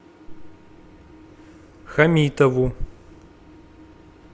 хамитову